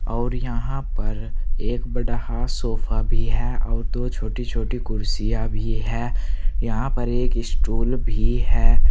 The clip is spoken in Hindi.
अउर यहां पर एक बड़ा हा सोफा भी है और दो छोटी छोटी कुर्सियां भी है यहां पर एक स्टूल भी है।